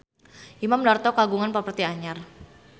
Imam Darto kagungan properti anyar